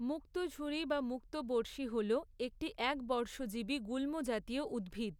মুক্তঝুরি বা মুক্তবর্ষী হল একটি একবর্ষজীবী গুল্মজাতীয় উদ্ভিদ।